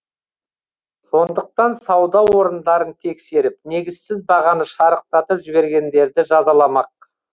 сондықтан сауда орындарын тексеріп негізсіз бағаны шарықтатып жібергендерді жазаламақ